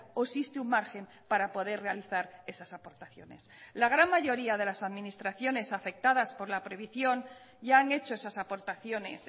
o existe un margen para poder realizar esas aportaciones la gran mayoría de las administraciones afectadas por la prohibición ya han hecho esas aportaciones